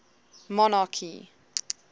monarchy